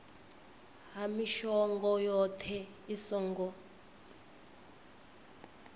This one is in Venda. ha mishongo yohe i songo